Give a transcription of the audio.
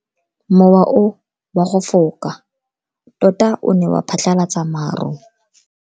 Mowa o wa go foka tota o ne wa phatlalatsa maru.